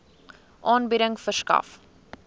aanbieding verskaf